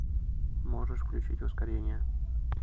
можешь включить ускорение